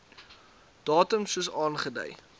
datum soos aangedui